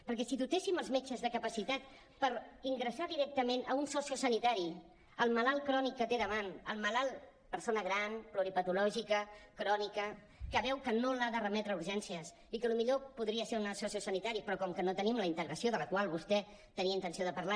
perquè si dotéssim els metges de capacitat per ingressar directament a un sociosanitari el malat crònic que té al davant el malalt persona gran pluripatològica crònica que veu que no l’ha de remetre a urgències i que el millor podria ser un sociosanitari però com que no tenim la integració de la qual vostè tenia intenció de parlar